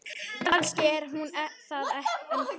Kannski er hún það ennþá.